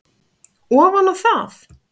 ofan á það.